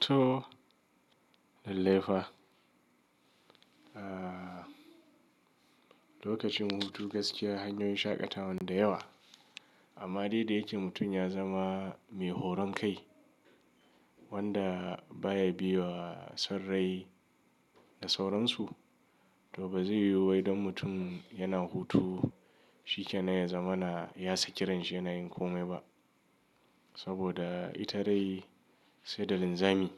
To lalle fa. Lokacin hutu gaskiya hanyoyin shaƙatawan da yawa. Amma dai da yake mutum ya zama mai horon kai wanda baya biye wa son rai da sauransu to bazai yiwu wai dan mutum yana hutu shikenan ya zamana ya saki ranshi yana yin komai ba. Saboda ita rai sai da linzami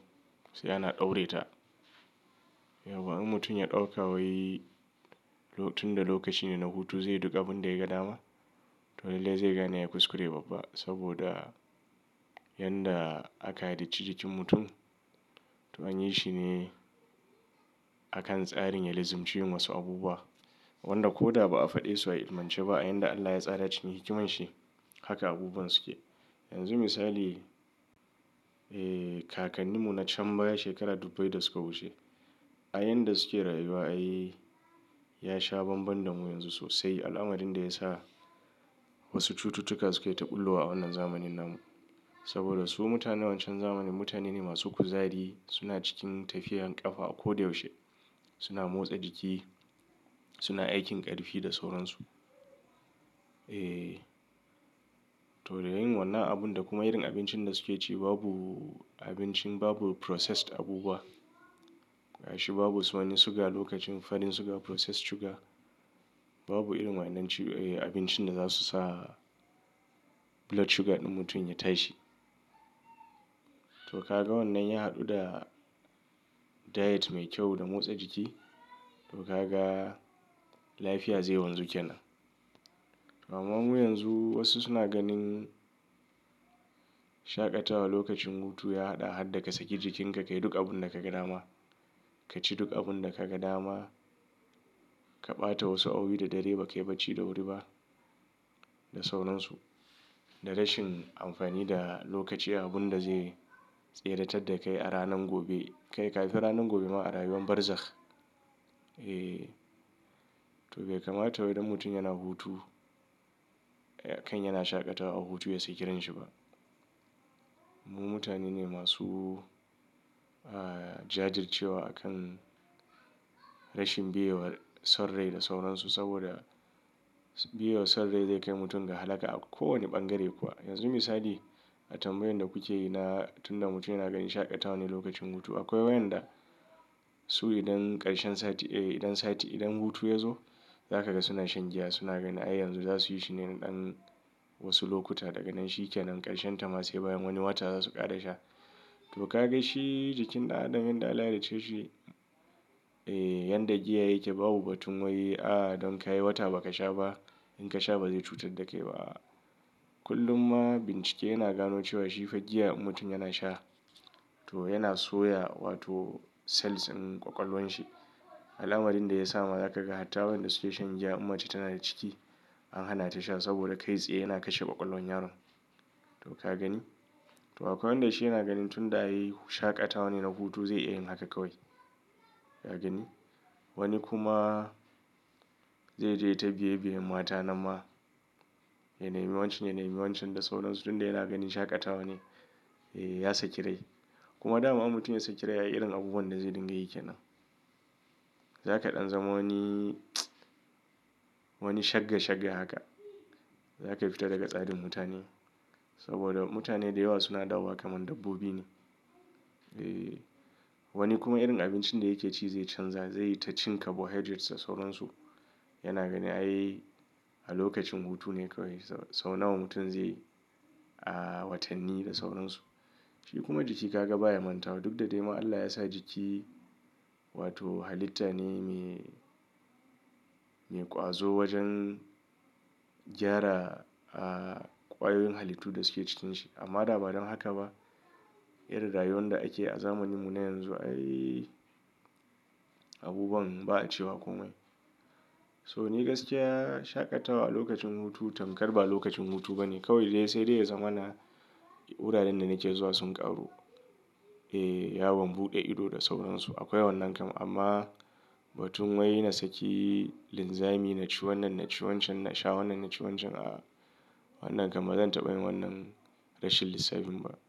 sai ana ɗaure ta. Yauwa in mutum ya ɗauka wai tun da lokaci ne na hutu zai yi duk abun da ya ga dama to lalle zai gane yayi kuskure babba. Saboda yanda aka halicci jikin mutum to an yi shine akan tsarin ya lizimci yin wasu abubuwa wanda ko da ba a faɗe su a ilimance ba a yanda Allah ya tsara cikin hikiman shi. Haka abubuwan suke. Yanzu misali, eh kakannimu na can baya shekara dubbai da suka wuce. A yanda suke rayuwa ai ya sha banban damu yanzu sosai. Al'amarin da ya sa wasu cututtuka su ka ɓullowa a wannan zamanin nan. Saboda su mutanen wancan zamanin mutane ne masu kuzari suna cikin tafiyar ƙafa a ko da yaushe. Suna motsa jiki, suna aikin ƙarfi da sauransu. Eh to dai yin wannan abun da kuma irin abincin da suke ci babu abincin babu processed abubuwa. Ga shi babu su wane suga lokacin farin suga processed sugar. Babu irin waɗannan abincin da zasu sa blood sugar ɗin mutum ya tashi. To ka ga wannan ya haɗu da diet mai kyau da motsa jiki to ka ga lafiya zai wanzu kenan. Amma mu yanzu wasu suna ganin shaƙatawa lokacin hutu ya haɗa har da ka saki jikinka ka yi duk abun da ka ga dama. Ka ci duk abun da ka ga dama. Ka ɓata wasu awowi da dare ba kai baci da wuri ba da sauransu. Da rashin amfani da lokaci abun da zai tseratar da kai a ranan gobe. Kai kafin ranan gobe ma a rayuwan barzakh. Eh to bai kamata wai don mutum yana hutu kan yana shaƙatawa hutu ya saki ranshi ba. Mu mutane ne masu ah jajircewa akan rashin biye wa son rai da sauransu saboda biye wa son rai zai kai mutum ga halaka a kowane bangare kuwa. Yanzu misali, a tambayan da kuke yi na tun da mutum yana ganin shaƙatawa ne lokacin hutu akwai wayanda su idan ƙarshen sati eh idan sati idan hutu ya zo za ka ga suna shan giya suna ganin ai yanzu za suyi shine ɗan wasu lokuta daga nan shikenan ƙarshen ta ma sai bayan wani wata zasu ƙare sha. To ka ga shi jikin ɗa'a din yanda Allah ya halicce shi eh yanda giya yake babu batun wai a don ka yi wata ba ka sha ba in ka sha bazai cutar da kai ba. Kullum ma bincike yana gano cewa shi fa giya mutum yana sha to yana soya wato cells in ƙwaƙwalwan shi. Al'amrin da ya sa ma za ka ga hatta wayanda suke shan giya in mace tana da ciki an hana ta sha saboda kai tsaye yana kashe ƙwaƙwalwan yaron. To ka gani? To akwai wanda shi yana ganin tun da ai shaƙatawa ne na hutu zai iya yin haka kawai. Ka gani? Wani kuma zai je ya ta biye biyen mata na ma. Ya nemi wancan ya nemi wancan da sauransu tun da yana ganin shaƙatawa ne eh ya saki rai. Kuma dama in mutum ya saki rai ai irin abubuwan da zai dinga yake nan. Za ka ɗan zama wani wani shagga shagga haka. Za ka fita daga tsarin mutane. Saboda mutane da yawa suna dawowa kamar dabbobi ne. Eh wani kuma irin abincin da yake ci zai canza zai yi ta cin carbohydrates da sauransu. Yana ganin ai a lokacin hutu ne kawai sau nawa mutum zai a watanni da sauransu. Shi kuma jiki ka ga baya mantawa duk da dai ma Allah ya sa jiki wato halitta ne me me ƙwazo wajen gyara a ƙwayoyin halittu da suke cikinshi. Amma da ba don haka ba irin rayuwan da ake a zamaninmu na yanzu ai abubuwan ba a cewa komai. So ni gaskiya shaƙatawa a lokacin hutu tamkar ba lokacin hutu bane kawai dai sai dai zamana. Wuraren da nake zuwa sun ƙaru. Eh yawon buɗe ido da sauransu. Akwai wannan kam amma batun wai na saki linzami na ci wannan na ci wancan na sha wannan na ci wancan a wannan kam bazan taɓa yin wannan rashin lissafin ba.